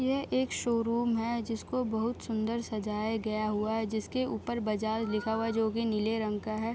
यह एक शोरूम है जिसको बहुत सुंदर सजाया गया हुआ है जिसके ऊपर बाज़ार लिखा हुआ है जो कि नीले रंग का है ।